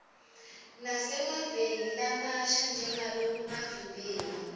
nasemaveni lamasha njengalokungavimbeki